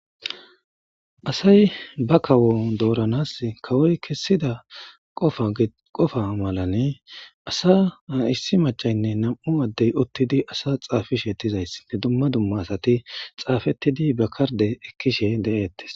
Asay ba kawo dooranas kawoy kessida qofa malane asa issi macaynne nam7u addey uttidi asa xaafisheettizays ne dumma dumma asati xaafettidi bakkarde ekkishe de'ettes.